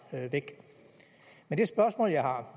væk men det spørgsmål jeg har